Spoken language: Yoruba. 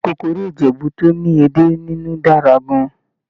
Ìkọ́kọrẹ́ Ìjẹ̀bú tó ní edé nínú dára gan-an